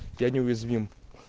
я неуязвим